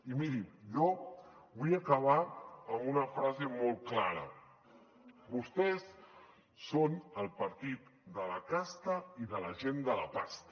i mirin jo vull acabar amb una frase molt clara vostès són el partit de la casta i de la gent de la pasta